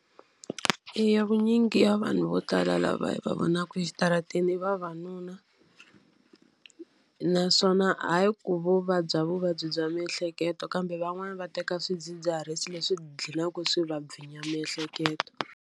Eya vunyingi ya vanhu vo tala lava hi va vonaka exitarateni i vavanuna. Naswona hayi ku vo vabya vuvabyi bya miehleketo, kambe van'wani va teka swidzidziharisi leswi dlhinaka swi va vhinya miehleketo.